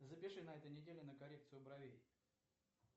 запиши на этой неделе на коррекцию бровей